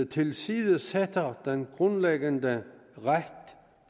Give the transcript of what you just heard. tilsidesætter den grundlæggende ret